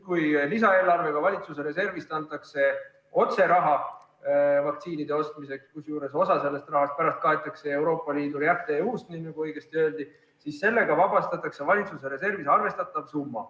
Kui lisaeelarvega antakse valitsuse reservist otse raha vaktsiinide ostmiseks, kusjuures osa sellest rahast kaetakse pärast Euroopa Liidu REACT-EU-st, nii nagu õigesti öeldi, siis sellega vabastatakse valitsuse reservis arvestatav summa.